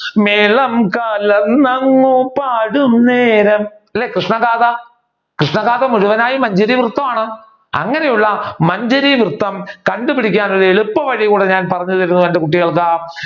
മേളം കലർന്ന് അങ്ങ് പാടുന്നേരം അല്ലെ കൃഷ്ണഗാഥ കൃഷ്ണഗാഥ മുഴവനായും മഞ്ചരി വൃത്തമാണ് അങ്ങനെയുള്ള മഞ്ചരി വൃത്തം കണ്ടുപിടിക്കാനുള്ള ഒരു എളുപ്പ വഴി കൂടെ ഞാൻ പറഞ്ഞു തരുന്നു എന്റെ കുട്ടികൾക്ക്